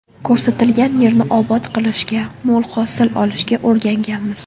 Ko‘rsatilgan yerni obod qilishga, mo‘l hosil olishga o‘rganganmiz.